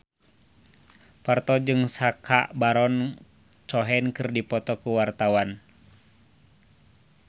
Parto jeung Sacha Baron Cohen keur dipoto ku wartawan